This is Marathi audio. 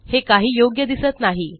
हे काही योग्य दिसत नाही